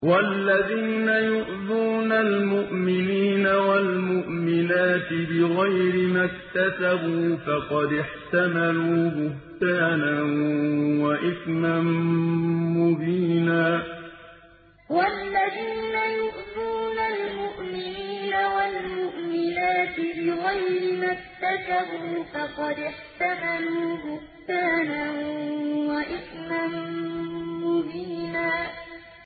وَالَّذِينَ يُؤْذُونَ الْمُؤْمِنِينَ وَالْمُؤْمِنَاتِ بِغَيْرِ مَا اكْتَسَبُوا فَقَدِ احْتَمَلُوا بُهْتَانًا وَإِثْمًا مُّبِينًا وَالَّذِينَ يُؤْذُونَ الْمُؤْمِنِينَ وَالْمُؤْمِنَاتِ بِغَيْرِ مَا اكْتَسَبُوا فَقَدِ احْتَمَلُوا بُهْتَانًا وَإِثْمًا مُّبِينًا